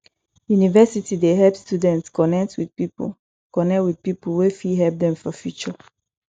university dey help students connect with people connect with people wey fit help dem for future